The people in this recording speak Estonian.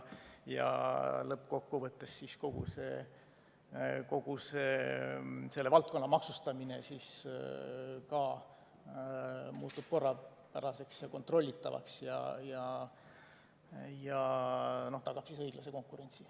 Lõppkokkuvõttes muutub kogu selle valdkonna maksustamine korrapäraseks, kontrollitavaks ja tagab õiglase konkurentsi.